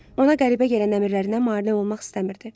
Ona qəribə gələn əmirlərinə mane olmaq istəmirdi.